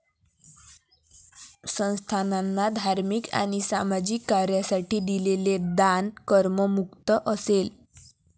संस्थाना धार्मिक आणि सामाजिक कार्यासाठी दिलेले दान करमुक्त असेल.